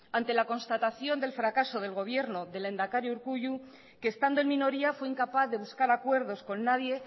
ante la constatación del fracaso de gobierno del lehendakari urkullu que estando en minoría fue incapaz de buscar acuerdos con nadie